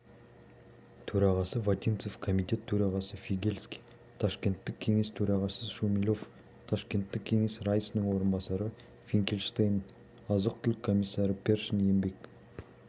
төрағасы вотинцев комитет төрағасы фигельский ташкенттік кеңес төрағасы шумилов ташкенттік кеңес раисының орынбасары финкельштейн азық-түлік комиссары першин еңбек